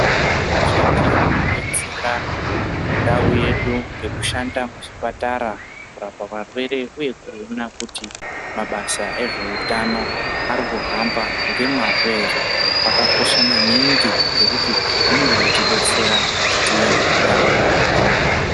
Vashandi vanobetsera ndau yedu ngekushanda muzvipatara kurapa varwere, uye kuona kuti mabasa ezveutano arikuhama ngemazvo ere, akakosha maningi ngekuti anenge eitibetsera kuti tive nendaramo yakanaka.